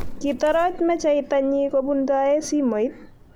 Kitoroch mecheita nyii kobuntoe simoit.